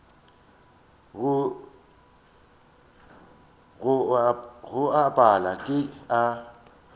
go a pala ke a